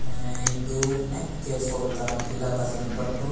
अय दो नेेके सोभता पीला कर्स बट्टो --